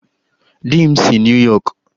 Di m si New York